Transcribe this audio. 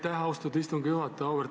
Aitäh, austatud istungi juhataja!